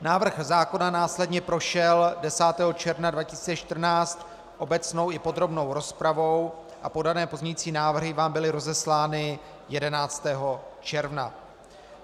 Návrh zákona následně prošel 10. června 2014 obecnou i podrobnou rozpravou a podané pozměňující návrhy vám byly rozeslány 11. června.